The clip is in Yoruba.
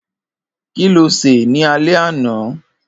Kiló sé ni àlẹ̀ ànà?